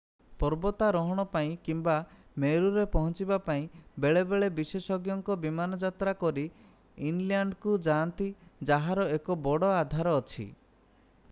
ପର୍ବତାରୋହଣ ପାଇଁ କିମ୍ବା ମେରୁରେ ପହଞ୍ଚିବା ପାଇଁ ବେଳେବେଳେ ବିଶେଷଜ୍ଞଙ୍କର ବିମାନ ଯାତ୍ରା କରି ଇନଲ୍ୟାଣ୍ଡକୁ ଯାଆନ୍ତି ଯାହାର ଏକ ବଡ଼ ଆଧାର ଅଛି